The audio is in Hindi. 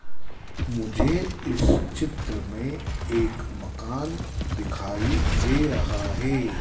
मुझे इस चित्र में एक मकान दिखाई दे रहा है।